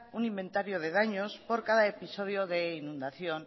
un inventario de daños por cada episodio de inundación